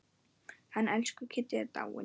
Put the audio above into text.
Hann elsku Kiddi er dáinn.